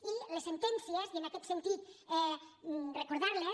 i les sentències i en aquest sentit recordar les